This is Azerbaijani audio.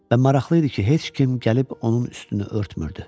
Və maraqlı idi ki, heç kim gəlib onun üstünü örtmürdü.